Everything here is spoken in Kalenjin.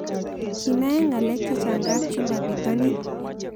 Kinae ng'alek chechang' kapchumba pitonin